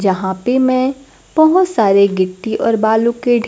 जहां पे मैं बहोत सारे गिट्टी और बालू के ढ़े--